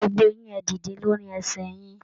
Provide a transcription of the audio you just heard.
Gbogbo yín, ẹ̀ dìde lórí ẹsẹ yín!